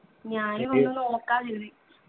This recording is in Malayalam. ഞാന് ഒന്ന് നോക്കാന്ന് കരുതി